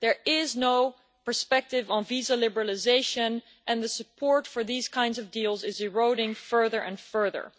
There is no perspective on visa liberalisation, and the support for these kinds of deals is eroding further and further.